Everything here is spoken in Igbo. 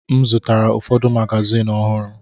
M zụtara ụfọdụ magazin ọhụrụ.